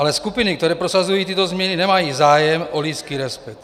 Ale skupiny, které prosazují tyto změny, nemají zájem o lidský respekt.